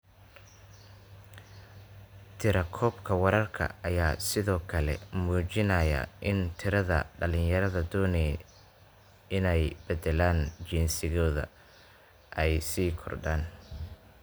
Tirakoobka wararka ayaa sidoo kale muujinaya in tirada dhalinyarada doonaya inay beddelaan jinsigooda ay sii kordhayaan.